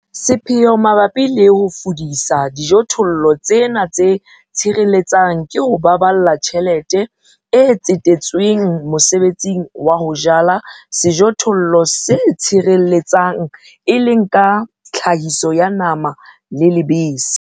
Sepheo mabapi le ho fudisa dijothollong tsena tse tshireletsang ke ho baballa tjhelete e tsetetsweng mosebetsing wa ho jala sejothollo se tshireletsang, e leng ka tlhahiso ya nama le lebese.